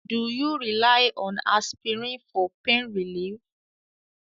Do you rely on aspirin for pain relief?